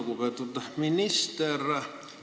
Lugupeetud minister!